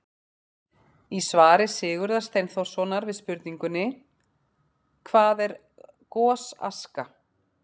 Í svari Sigurðar Steinþórssonar við spurningunni: Hvað er gosaska?